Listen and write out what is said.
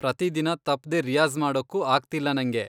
ಪ್ರತಿದಿನ ತಪ್ದೇ ರಿಯಾಜ಼್ ಮಾಡೋಕ್ಕೂ ಆಗ್ತಿಲ್ಲ ನಂಗೆ.